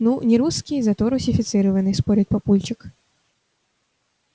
ну не русский зато русифицированный спорит папульчик